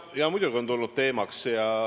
Jaa, muidugi on see tulnud teemaks.